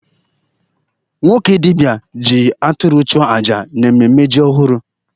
Nwoke dibia ji atụrụ chụọ aja n'ememe ji ọhụrụ.